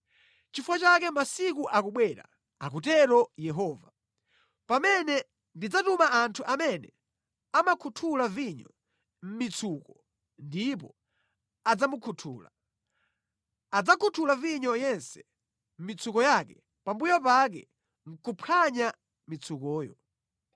Nʼchifukwa chake masiku akubwera,” akutero Yehova, “pamene ndidzatuma anthu amene amakhuthula vinyo mʼmitsuko ndipo adzamukhutula; adzakhuthula vinyo yense mitsuko yake pambuyo pake nʼkuphwanya mitsukoyo.